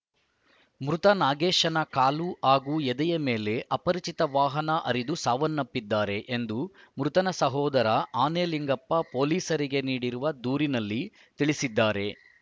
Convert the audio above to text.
ಮೃತ ನಾಗೇಶನ ಕಾಲು ಹಾಗೂ ಎದೆಯ ಮೇಲೆ ಅಪರಿಚಿತ ವಾಹನ ಹರಿದು ಸಾವನ್ನಪ್ಪಿದ್ದಾರೆ ಎಂದು ಮೃತನ ಸಹೋದರ ಅನೆಲಿಂಗಪ್ಪ ಪೊಲೀಸರಿಗೆ ನೀಡಿರುವ ದೂರಿನಲ್ಲಿ ತಿಳಿಸಿದ್ದಾರೆ